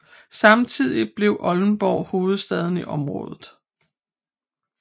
Samtidigt blev Oldenborg hovedstad i området